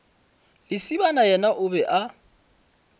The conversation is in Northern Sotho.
lesibana yena o be a